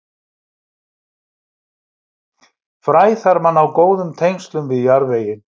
Fræ þarf að ná góðum tengslum við jarðveginn.